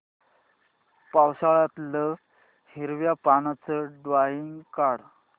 पावसाळ्यातलं हिरव्या पानाचं ड्रॉइंग काढ